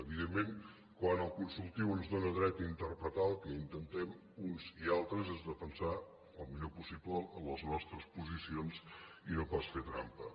evidentment quan el consultiu ens dóna dret a interpretar el que intentem uns i altres és defensar el millor possible les nostres posicions i no pas fer trampa